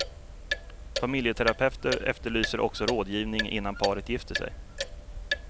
Familjeterapeuter efterlyser också rådgivning innan paret gifter sig.